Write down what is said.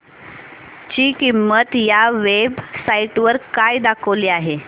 ची किंमत या वेब साइट वर काय दाखवली आहे